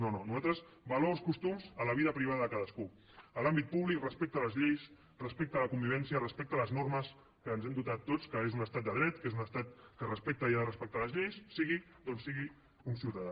no no nosaltres valors costums a la vida privada de cadascú a l’àmbit públic respecte a les lleis respecte a la convivència respecte a les normes de què ens hem dotat tots que és un estat de dret que és un estat que respecta i ha de respectar les lleis sigui d’on sigui un ciutadà